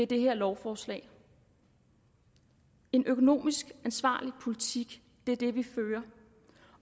det her lovforslag en økonomisk ansvarlig politik er det vi fører